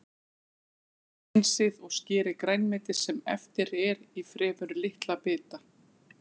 Hreinsið og skerið grænmetið sem eftir er í fremur litla bita.